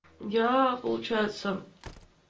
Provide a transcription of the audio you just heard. я получается